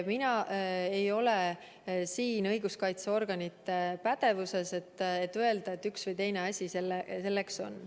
Mina ei ole siin õiguskaitseorganite pädevuses, et öelda, et üks või teine asi on.